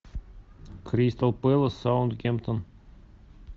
кристал пэлас саутгемптон